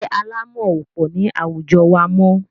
Ilé alámọ̀ ò pọ̀ ní àwujọ wa mọ́.